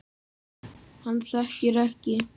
Hann þekkir ekki